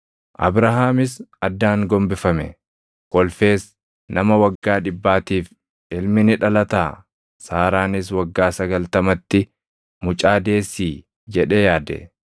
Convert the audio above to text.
Abrahaamis addaan gombifame; kolfees, “Nama waggaa dhibbaatiif ilmi ni dhalataa? Saaraanis waggaa sagaltamatti mucaa deessii?” jedhee yaade.